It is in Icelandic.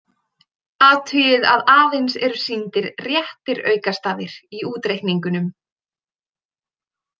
Athugið að aðeins eru sýndir réttir aukastafir í útreikningunum.